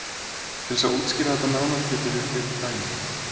Til þess að útskýra þetta nánar getum við takið dæmi.